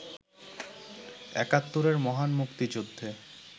একাত্তরের মহান মুক্তিযুদ্ধে